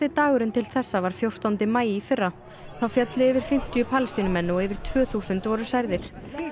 dagurinn til þessa var fjórtánda maí í fyrra þá féllu yfir fimmtíu Palestínumenn og yfir tvö þúsund voru særðir